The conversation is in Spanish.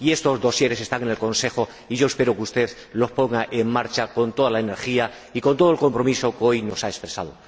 Estos expedientes están en el Consejo y yo espero que usted los ponga en marcha con toda la energía y con todo el compromiso que hoy nos ha expresado.